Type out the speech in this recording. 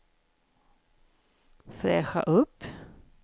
fräscha upp